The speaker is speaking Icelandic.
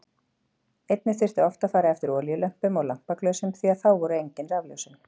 Einnig þurfti oft að fara eftir olíulömpum og lampaglösum því að þá voru engin rafljósin.